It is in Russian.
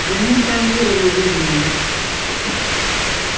да нет там веры наверное